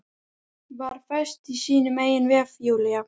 Var föst í sínum eigin vef, Júlía.